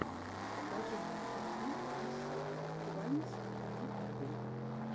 покажи мне интервью иссы тваймз в ютубе